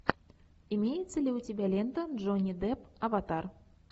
имеется ли у тебя лента джонни депп аватар